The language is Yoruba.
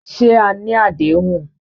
Ṣé à ní adéhùn?